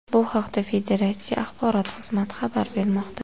Bu haqda federatsiya axborot xizmati xabar bermoqda.